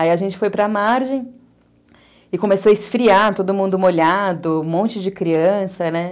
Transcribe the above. Aí a gente foi para a margem e começou a esfriar, todo mundo molhado, um monte de criança, né?